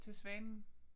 Til svanen